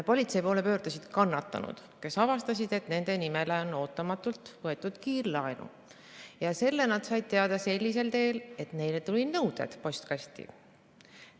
Politsei poole pöördusid kannatanud, kes olid avastanud, et nende nimel on ootamatult võetud kiirlaenu, ja sellest said nad teada sellisel teel, et neile tulid postkasti nõuded.